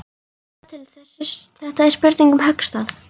Sjáðu til, þetta er spurning um höggstað.